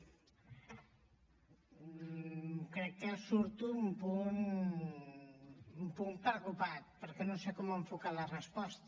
crec que surto un punt preocupat perquè no sé com enfocar la resposta